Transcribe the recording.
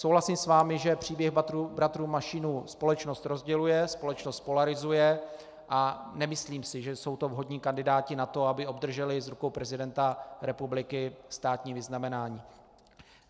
Souhlasím s vámi, že příběh bratrů Mašínů společnost rozděluje, společnost polarizuje, a nemyslím si, že jsou to vhodní kandidáti na to, aby obdrželi z rukou prezidenta republiky státní vyznamenání.